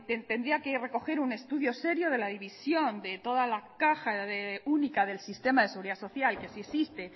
tendría que recoger un estudio serio de la división de toda la caja única del sistema de seguridad social que sí existe